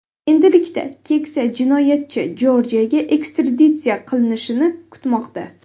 Endilikda keksa jinoyatchi Jorjiyaga ekstraditsiya qilinishini kutmoqda.